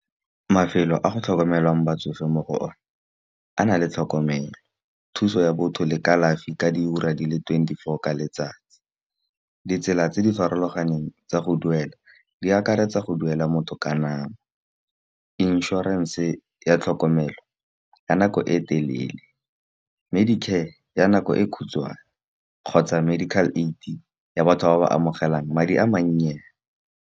Nafelo a go tlhokomelwang batsofe mo go o ne a na le tlhokomelo, thuso ya botho le kalafi ka di ura di le twenty-four ka letsatsi. Ditsela tse di farologaneng tsa go duela di akaretsa go duela motho ka nako, inšorense ya tlhokomelo ya nako e telele medicare ka ya nako e khutshwane. Kgotsa medical aid ya batho ba ba amogelang madi a mannye.